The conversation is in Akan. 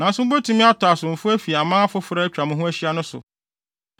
“ ‘Nanso mubetumi atɔ asomfo afi aman afoforo a atwa mo ho ahyia no so.